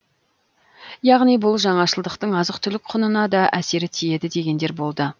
яғни бұл жаңашылдықтың азық түлік құнына да әсері тиеді дегендер болды